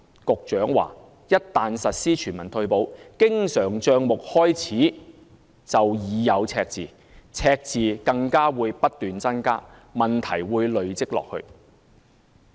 局長表示，一旦實施全民退保，經常帳目開始時便已有赤字，赤字更會不斷增加，問題會累積下去。